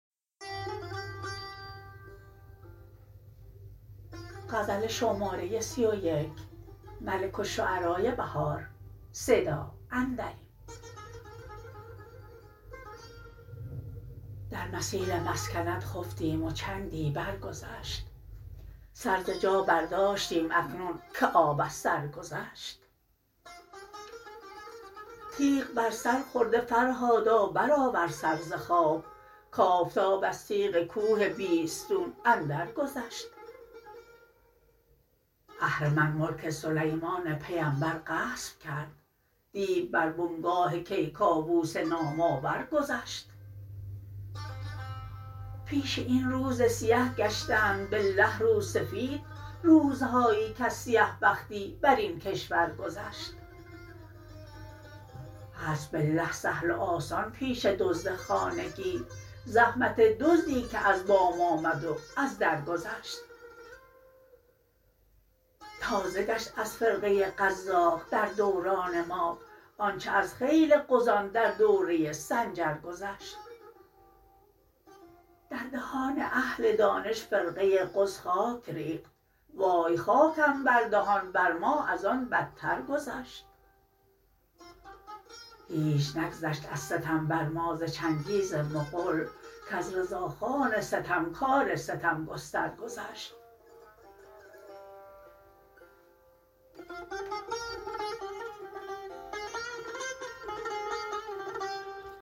در مسیل مسکنت خفتیم و چندی برگذشت سر ز جا برداشتیم اکنون که آب از سر گذشت تیغ بر سر خورده فرهادا برآور سر ز خواب کآفتاب از تیغ کوه بیستون اندر گذشت اهرمن ملک سلیمان پیمبر غصب کرد دیو بر بنگاه کیکاوس نام آور گذشت پیش این روز سیه گشتند بالله روسفید روزهایی کز سیه بختی برین کشور گذشت هست بالله سهل و آسان پیش دزد خانگی زحمت دزدی که از بام آمد و از در گذشت تازه گشت از فرقه قزاق در دوران ما آنچه از خیل غزان در دوره سنجر گذشت در دهان اهل دانش فرقه غز خاک ریخت وای خاکم بر دهان بر ما از آن بدتر گذشت هیچ نگذشت از ستم بر ما ز چنگیز مغول کز رضاخان ستمکار ستم گستر گذشت